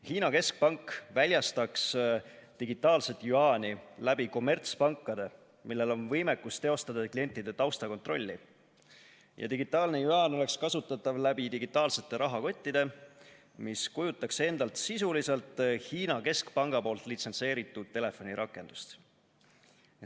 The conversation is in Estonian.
Hiina keskpank väljastaks digitaalset jüaani läbi kommertspankade, millel on võimekus teostada klientide taustakontrolli, ja digitaalne jüaan oleks kasutatav läbi digitaalsete rahakottide, mis kujutaks endast sisuliselt Hiina keskpanga litsentseeritud telefonirakendust.